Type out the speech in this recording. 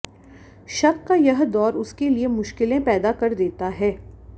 शक का यह दौर उसके लिए मुश्किलें पैदा कर देता है